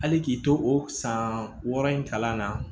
Hali k'i to o san wɔɔrɔ in kalan na